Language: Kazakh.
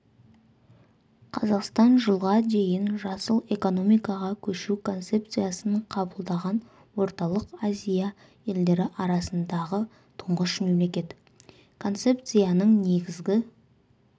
қазақстан жылға дейін жасыл экономикаға көшу концепциясын қабылдаған орталық азия елдері арасындағы тұңғыш мемлекет концепцияның негізгі